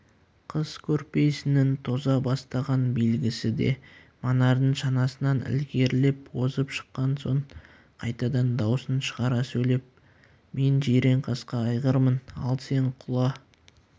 қыс көрпесінің тоза бастаған белгісі де манардың шанасынан ілгерілеп озып шыққан соң қайтадан даусын шығара сөйлеп мен жиренқасқа айғырмын ал сен құла